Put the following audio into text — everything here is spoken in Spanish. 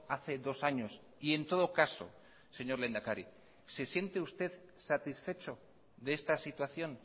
hace dos años y en todo caso señor lehendakari se siente usted satisfecho de esta situación